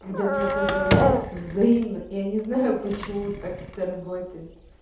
когда меня поздравляют взаимно я не знаю почему так это работает